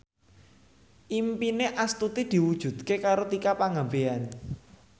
impine Astuti diwujudke karo Tika Pangabean